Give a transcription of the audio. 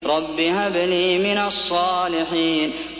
رَبِّ هَبْ لِي مِنَ الصَّالِحِينَ